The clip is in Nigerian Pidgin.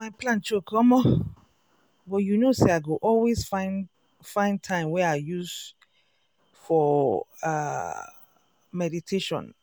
my plan choke omo!!! but you know say i go always find find time wey i use for um ah meditation.